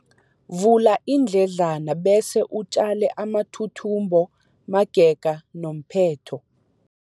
Vula iindledlana bese utjale amathuthumbo magega nomphetho.